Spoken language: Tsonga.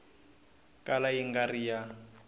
kala yi nga ri ya